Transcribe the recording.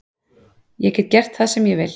Ég get gert það sem ég vil